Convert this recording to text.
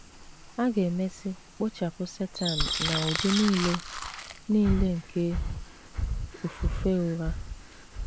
A ga - emesị kpochapụ Satan na ụdị nile nile nke ofufe ụgha.